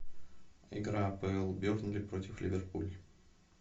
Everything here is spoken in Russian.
игра апл бернли против ливерпуль